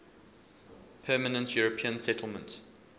permanent european settlement